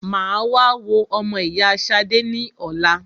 Mà á wá wo ọmọ ìyá Ṣadé ní ọ̀la.